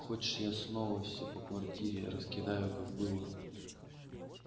хочешь я снова всё по квартире раскидаю как было